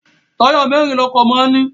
Táyà mẹ́ẹ́rin ni ọkọ̀ máa ń ní